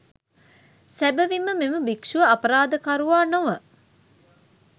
සැබවින්ම මෙම භික්ෂුව අපරාධකරුවා නොව